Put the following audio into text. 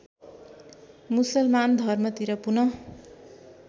मुसलमान धर्मतिर पुनः